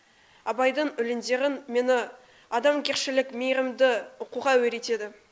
абайдың өлеңдері мені адамгершілік мейірімді оқуға үйретеді